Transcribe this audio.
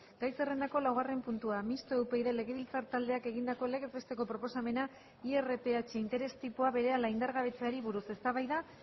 gai zerrendako laugarren puntua mistoa upyd legebiltzar taldeak egindako legez besteko proposamena irph interestipoa berehala indargabetzeari buruz eztabaida